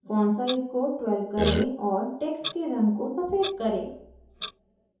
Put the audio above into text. font size को 12 करें और text के रंग को सफ़ेद करें